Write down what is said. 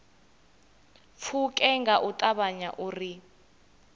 pfuke nga u ṱavhanya uri